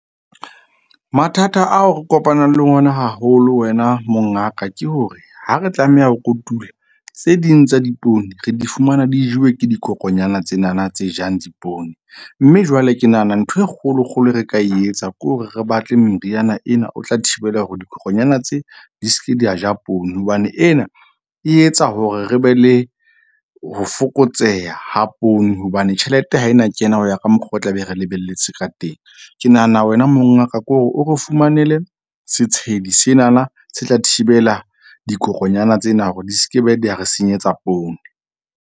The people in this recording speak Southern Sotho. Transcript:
Mathata ao re kopanang le ona haholo wena mongaka ke hore ha re tlameha ho kotula tse ding tsa dipoone re di fumana di jewe ke dikokonyana tsenana tse jang dipoone. Mme jwale ke nahana ntho e kgolo kgolo re ka e etsa ke hore re batle meriana ena, o tla thibela hore dikokonyana tse di ske di a ja poone. Hobane ena e etsa hore re be le ho fokotseha ha poone. Hobane tjhelete ha ena kena ho ya ka mokgwa o tla be re lebelletse ka teng. Ke nahana wena mongaka ko re o re fumanele setshedi senana se tla thibela dikokonyana tsena hore di ske be di ya re senyetsa poone.